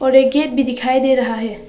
और एक गेट भी दिखाई दे रहा है।